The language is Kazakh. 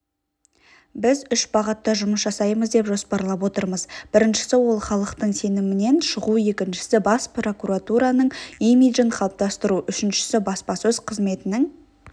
біз үш бағытта жұмыс жасаймыз деп жоспарлап отырмыз біріншісі ол халықтың сенімінен шығу екіншісі бас прокуратураның имиджін қалыптастыру үшіншісі баспасөз қызметінің